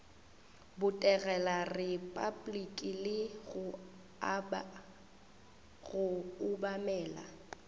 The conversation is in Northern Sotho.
botegela repabliki le go obamela